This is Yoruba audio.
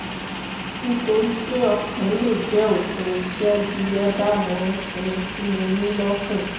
(nítorí pé ọ̀kan lè jẹ́ òpin iṣẹ́ bí ẹ bá mọ ohun tí mo ní lọ́kàn